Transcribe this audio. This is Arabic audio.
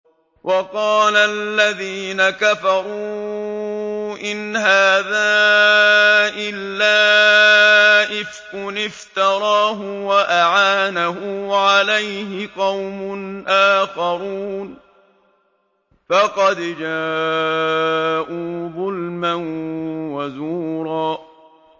وَقَالَ الَّذِينَ كَفَرُوا إِنْ هَٰذَا إِلَّا إِفْكٌ افْتَرَاهُ وَأَعَانَهُ عَلَيْهِ قَوْمٌ آخَرُونَ ۖ فَقَدْ جَاءُوا ظُلْمًا وَزُورًا